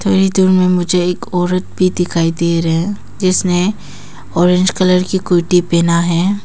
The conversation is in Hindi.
यही दूर में मुझे एक औरत भी दिखाई दे रहा हैं जिसने ऑरेंज कलर की कुर्ती पहना है।